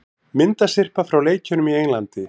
Myndasyrpa frá leikjunum í Englandi